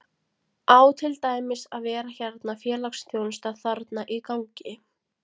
Á til dæmis að vera hérna félagsþjónusta þarna í gangi?